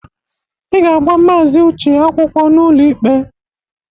Ị ga-agba maazị Uche akwụkwọ n'ụlọ ikpe!